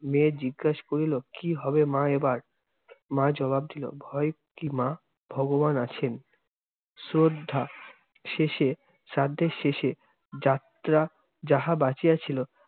মেয়ে জিজ্ঞাস করিল, কি হবে মা এবার? মা জবাব দিল ভঁয়ের কি মা? ভগবান আছেন। শ্রদ্ধা শেষে শ্রাদ্ধের শেষে যাত্রা যাহা বাঁচিয়া ছিল